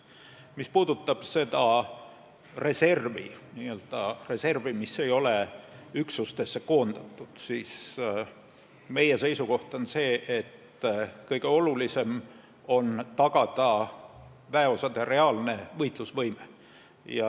Mis puudutab seda reservi, mis ei ole üksustesse koondatud, siis meie seisukoht on see, et kõige olulisem on tagada väeosade reaalne võitlusvõime.